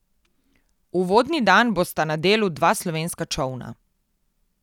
Uvodni dan bosta na delu dva slovenska čolna.